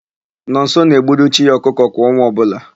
Nọnso na-egburu chi ya ọkụkọ kwa ọnwa ọbụla.